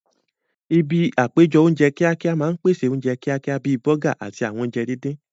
Ibi àpéjọ oúnjẹ kíákíá máa ń pèsè oúnjẹ kíákíá bíi bọ́gà àti àwọn oúnjẹ díndín